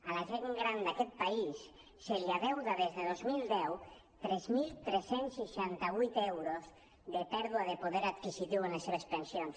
a la gent gran d’aquest país se li deu des de dos mil deu tres mil tres cents i seixanta vuit euros de pèrdua de poder adquisitiu en les seves pensions